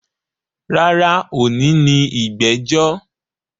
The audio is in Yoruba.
Rárá, òní ni ìgbẹ́jọ́